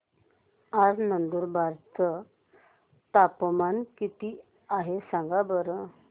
आज नंदुरबार चं तापमान किती आहे सांगा बरं